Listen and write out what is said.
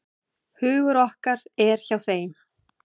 Hugur okkar er hjá þeim.